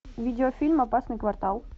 видеофильм опасный квартал